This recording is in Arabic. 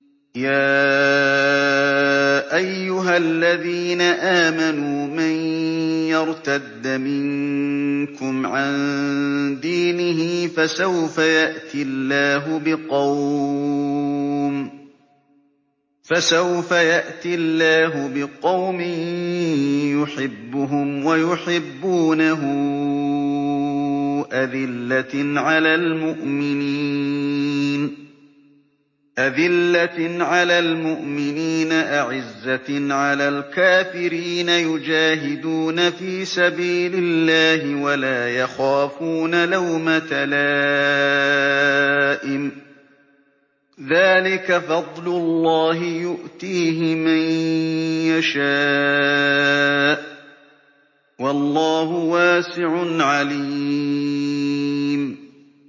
يَا أَيُّهَا الَّذِينَ آمَنُوا مَن يَرْتَدَّ مِنكُمْ عَن دِينِهِ فَسَوْفَ يَأْتِي اللَّهُ بِقَوْمٍ يُحِبُّهُمْ وَيُحِبُّونَهُ أَذِلَّةٍ عَلَى الْمُؤْمِنِينَ أَعِزَّةٍ عَلَى الْكَافِرِينَ يُجَاهِدُونَ فِي سَبِيلِ اللَّهِ وَلَا يَخَافُونَ لَوْمَةَ لَائِمٍ ۚ ذَٰلِكَ فَضْلُ اللَّهِ يُؤْتِيهِ مَن يَشَاءُ ۚ وَاللَّهُ وَاسِعٌ عَلِيمٌ